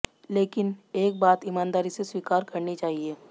लेकिन एक बात ईमानदारी से स्वीकार करनी चाहिए